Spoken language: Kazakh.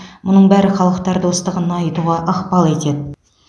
мұның бәрі халықтар достығын нығайтуға ықпал етеді